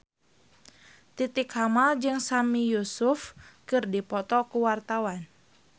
Titi Kamal jeung Sami Yusuf keur dipoto ku wartawan